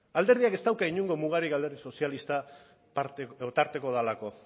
alderdiak ez dauka inongo mugarik alderdi sozialista tarteko delako